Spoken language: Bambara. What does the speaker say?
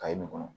nin kɔnɔ